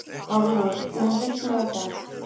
Hárlaugur, mun rigna í dag?